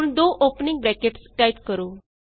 ਹੁਣ ਦੋ opening brackets type ਕਰੋ